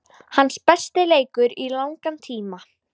Hans besti leikur í langan tíma.